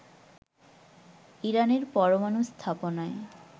ইরানের পরমানু স্থাপনায়